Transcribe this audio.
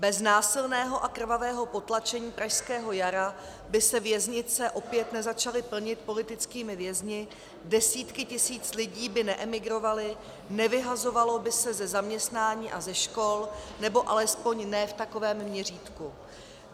Bez násilného a krvavého potlačení pražského jara by se věznice opět nezačaly plnit politickými vězni, desítky tisíc lidí by neemigrovaly, nevyhazovaly by se ze zaměstnání a ze škol, nebo alespoň ne v takovém měřítku.